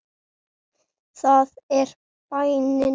Það er bænin.